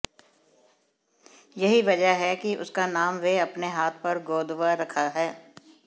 यही वजह है कि उसका नाम वह अपने हाथ पर गोदवा रखा है